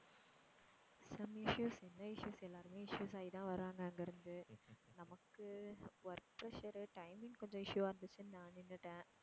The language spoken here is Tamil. some issues என்ன issues எல்லாருமே issues ஆகி தான் வர்றாங்க அங்கிருந்து. நமக்கு work pressure உ timing கொஞ்சம் issue வா இருந்துச்சுன்னு நான் நின்னுட்டேன்.